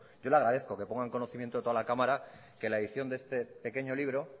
yo le agradezco que ponga en conocimiento de toda la cámara que la edición de este pequeño libro